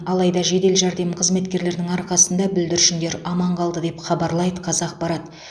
алайда жедел жәрдем қызметкерлерінің арқасында бүлдіршіндер аман қалды деп хабарлайды қазақпарат